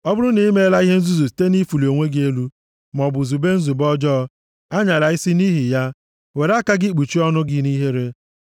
“Ọ bụrụ na i meela ihe nzuzu site nʼifuli onwe gị elu maọbụ zube nzube ọjọọ, anyala isi nʼihi ya, were aka gị kpuchie ọnụ gị nʼihere.